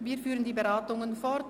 Wir führen die Beratungen fort.